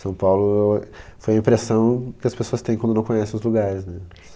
São Paulo foi a impressão que as pessoas têm quando não conhecem os lugares, né?